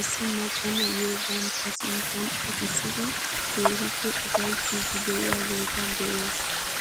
issi macca na'iyoo bantta sinttan uttisidi keehippe ufayttiidi de'iyaageta be'oos.